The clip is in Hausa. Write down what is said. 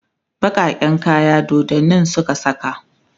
bakaken kaya doddanin Suka saka